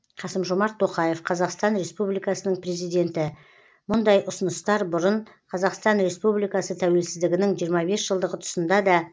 қасым жомарт тоқаев қазақстан республикасының президенті мұндай ұсыныстар бұрын қазақстан республикасы тәуелсіздігінің жиырма бес жылдығы тұсында да